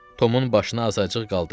Tomun başını azacıq qaldırdı.